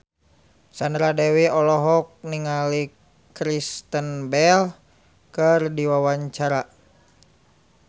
Sandra Dewi olohok ningali Kristen Bell keur diwawancara